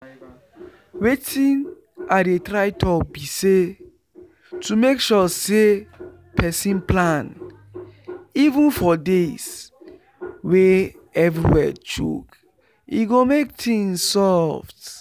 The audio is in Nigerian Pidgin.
wetin i dey try talk be say to make sure say person plan even for days wey everywhere choke e go make things soft